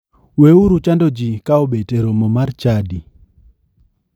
We uru chando ji ka obet e romo mar chadi.